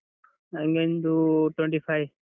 ನಂಗೊಂದು twenty five.